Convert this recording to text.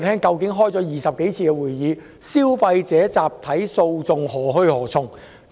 經召開20多次會議後，究竟消費者集體訴訟何去何從？